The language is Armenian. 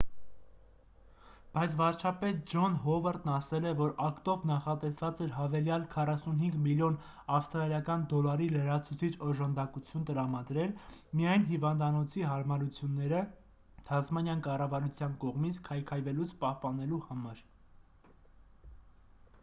բայց վարչապետ ջոն հովարդն ասել է որ ակտով նախատեսված էր հավելյալ 45 միլիոն ավստրալիական դոլարի լրացուցիչ օժանդակություն տրամադրել միայն հիվանդանոցի հարմարությունները թասմանյան կառավարության կողմից քայքայվելուց պահպանելու համար